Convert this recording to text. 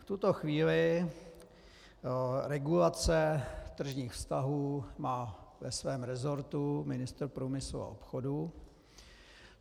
V tuto chvíli regulaci tržních vztahů má ve svém resortu ministr průmyslu a obchodu.